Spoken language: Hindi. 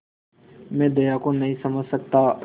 मैं दया को नहीं समझ सकता